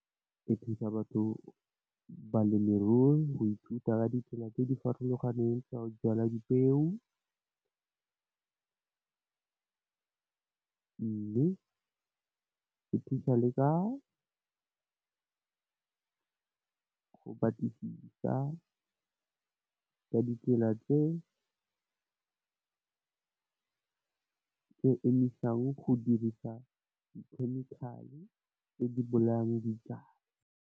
Ke thusa, batho balemi leruo go ithuta ka ditsela tse di farologaneng tsa go jalwa dipeo. Mme, ke thusa le ka go batlisisa ka ditsela tse emisang go dirisa di chemical tse di bolayang ditau.